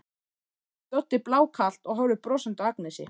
spyr Doddi blákalt og horfir brosandi á Agnesi.